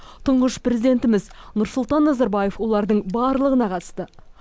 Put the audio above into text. тұңғыш президентіміз нұрсұлтан назарбаев олардың барлығына қатысты